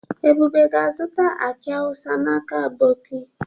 Ebube ga-azuta aki awusa n'aka aboki.